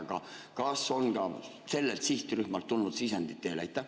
Aga kas on ka sellelt sihtrühmalt tulnud sisendit teile?